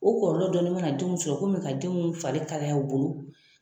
O kɔlɔlɔ dɔɔni mana denw sɔrɔ komi ka denw fari kalaya u bolo